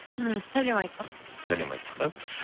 м сәлем айттық сәлем айттық аха